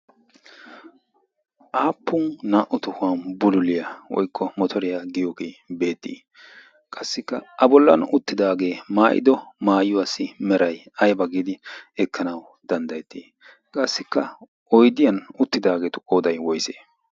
aappun naa'u tohuwan bululiyaa woikko motoriyaa giyoogie beettii qassikka a bollan uttidaagee maayido maayuwaassi merai aiba giidi ekkanau danddayettii qassikka oidiyan uttidaageetu oodai woise?